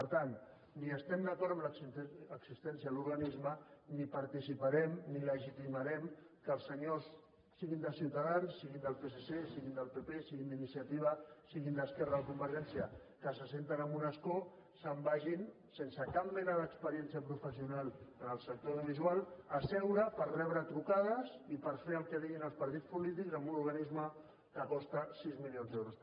per tant ni estem d’acord amb l’existència de l’organisme ni participarem ni legitimarem que els senyors siguin de ciutadans siguin del psc siguin del pp siguin d’iniciativa siguin d’esquerra o de convergència que s’asseuen en un escó se’n vagin sense cap mena d’experiència professional en el sector audiovisual a seure per rebre trucades i per fer el que diguin els partits polítics en un organisme que costa sis milions d’euros